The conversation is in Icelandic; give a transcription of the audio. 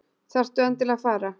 Þarftu endilega að fara?